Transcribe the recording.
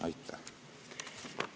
Aitäh!